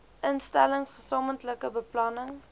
instellings gesamentlike beplanning